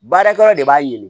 Baarakɛyɔrɔ de b'a ye